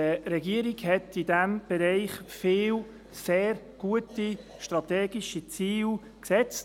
Die Regierung hat in diesem Bereich sehr viele gute strategische Ziele gesetzt.